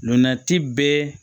Nɔnnati bɛɛ